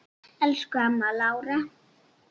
Elsku amma Lára.